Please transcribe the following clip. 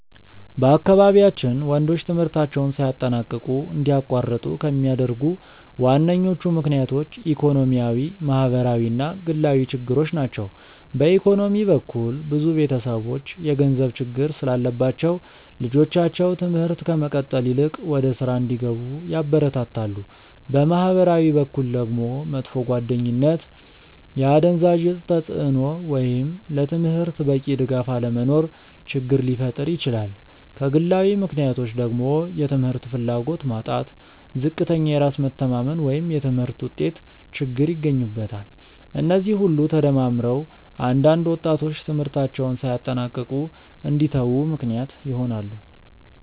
በአካባቢያችን ወንዶች ትምህርታቸውን ሳያጠናቅቁ እንዲያቋርጡ ከሚያደርጉ ዋነኞቹ ምክንያቶች ኢኮኖሚያዊ፣ ማህበራዊ እና ግላዊ ችግሮች ናቸው። በኢኮኖሚ በኩል ብዙ ቤተሰቦች የገንዘብ ችግር ስላለባቸው ልጆቻቸው ትምህርት ከመቀጠል ይልቅ ወደ ሥራ እንዲገቡ ያበረታታሉ። በማህበራዊ በኩል ደግሞ መጥፎ ጓደኝነት፣ የአደንዛዥ እፅ ተጽእኖ ወይም ለትምህርት በቂ ድጋፍ አለመኖር ችግር ሊፈጥር ይችላል። ከግላዊ ምክንያቶች ደግሞ የትምህርት ፍላጎት ማጣት፣ ዝቅተኛ የራስ መተማመን ወይም የትምህርት ውጤት ችግር ይገኙበታል። እነዚህ ሁሉ ተደማምረው አንዳንድ ወጣቶች ትምህርታቸውን ሳያጠናቅቁ እንዲተዉ ምክንያት ይሆናሉ።